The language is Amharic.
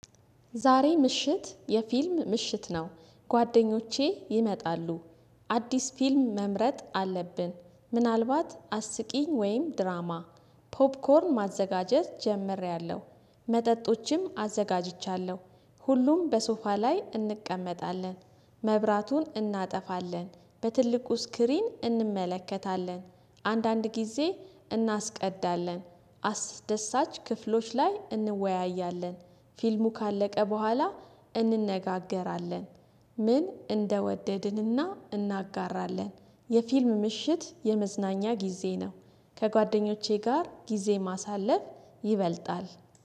ዛሬ ምሽት የፊልም ምሽት ነው፤ ጓደኞቼ ይመጣሉ። አዲስ ፊልም መምረጥ አለብን። ምናልባት አስቂኝ ወይም ድራማ ፖፕኮርን ማዘጋጀት ጀምሬያለሁ፤። መጠጦችም አዘጋጅቻለሁ። ሁሉም በሶፋ ላይ እንቀመጣለን፤። መብራቱን እናጠፋለን በትልቁ ስክሪን እንመለከታለን። አንዳንድ ጊዜ እናስቀዳለን አስደሳች ክፍሎች ላይ እንወያያለን። ፊልሙ ካለቀ በኋላ እንነጋገራለን። ምን እንደወደድንና እናጋራለን የፊልም ምሽት የመዝናኛ ጊዜ ነው። ከጓደኞቼ ጋር ጊዜ ማሳለፍ ይበልጣል።